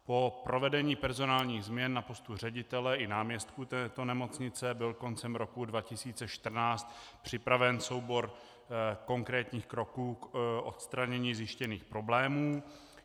Po provedení personálních změn na postu ředitele i náměstků této nemocnice byl koncem roku 2014 připraven soubor konkrétních kroků k odstranění zjištěných problémů.